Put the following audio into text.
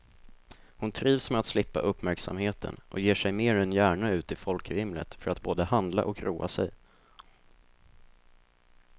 Hon trivs med att slippa uppmärksamheten och ger sig mer än gärna ut i folkvimlet för att både handla och roa sig.